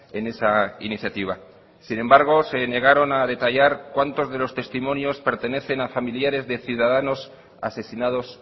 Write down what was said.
en esa iniciativa sin embargo se negaron a detallar cuántos de los testimonios pertenecen a familiares de ciudadanos asesinados